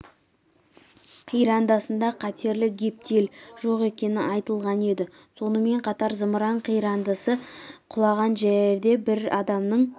қирандысында қатерлі гептил жоқ екені айтылған еді сонымен қатар зымыран қирандысы құлаған жерде бір адамның